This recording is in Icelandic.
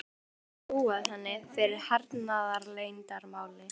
Hann virðist hafa trúað henni fyrir hernaðarleyndarmáli.